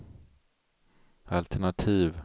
altenativ